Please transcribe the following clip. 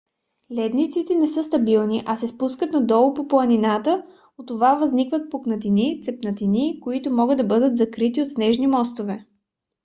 ледниците не са стабилни а се спускат надолу по планината. от това възникват пукнатини цепнатини които могат да бъдат закрити от снежни мостове